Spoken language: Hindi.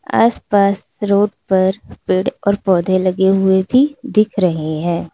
आसपास रोड पर पेड़ और पौधे लगे हुए भी दिख रहे हैं।